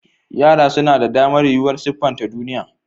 Yara suna da damar yuwuwar siffanta duniya.